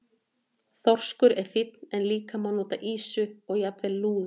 Þorskur er fínn en líka má nota ýsu og jafnvel lúðu.